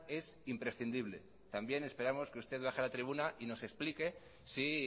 es imprescindible también esperamos que usted baje a la tribuna y nos explique si